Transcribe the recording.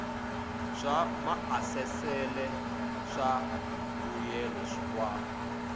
swa maasesele swa mbuyelo wa